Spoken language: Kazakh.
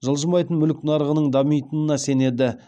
жылжымайтын мүлік нарығының дамитынына сенеді